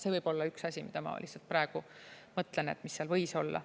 See võib olla üks asi, mida ma lihtsalt praegu mõtlen, et mis seal võis olla.